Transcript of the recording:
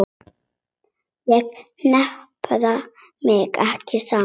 Ég hnipra mig ekki saman.